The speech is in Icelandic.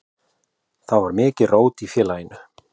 Þá var mikið rót í félaginu.